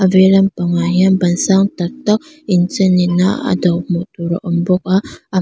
vei lam pang ah hian ban sang tak tak inchen in a a do hmuh tur a awm bawk a a hma--